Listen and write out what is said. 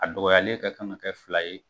A dɔgɔyalen ka kan ka kɛ fila ye